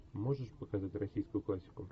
можешь показать российскую классику